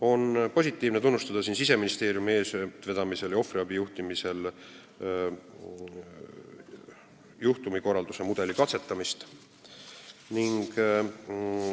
On positiivne tunnustada Siseministeeriumi eestvedamisel ja ohvriabi juhtimisel toimuvat juhtumikorralduse mudeli katsetamist.